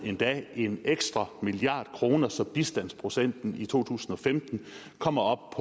en ekstra milliard kroner så bistandsprocenten i to tusind og femten kommer op